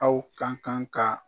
Aw ka kan ka